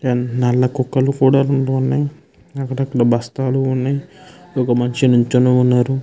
నల్ల కుక్కల్లు కూడా రెండు వున్నాయ్. ఒక బస్తల్లు వున్నాయ్. ఒక మనిషి నిలుచొని వున్నారు.